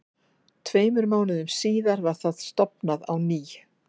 Tveimur mánuðum síðar var það stofnað á ný.